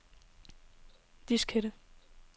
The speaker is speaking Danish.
diskette